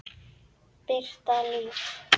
Birta Líf.